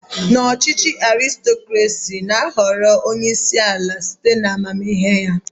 N'ọchịchị Arịstokrasị, ana ahọrọ onyeisi ala site na amamihe ya.